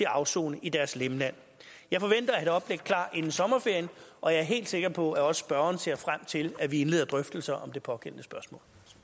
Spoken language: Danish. afsone i deres hjemland jeg forventer at have et oplæg klar inden sommerferien og jeg er helt sikker på at også spørgeren ser frem til at vi indleder drøftelser om det pågældende spørgsmål